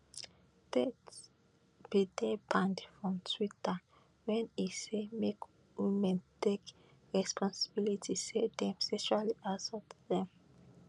tate bin dey banned from twitter wen e say make women take responsibility say dem sexually assault dem